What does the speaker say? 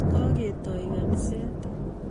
Kaketoi kinisiet